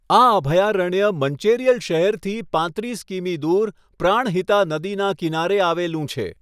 આ અભયારણ્ય મંચેરિયલ શહેરથી પાંત્રીસ કિમી દૂર પ્રાણહિતા નદીના કિનારે આવેલું છે.